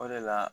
O de la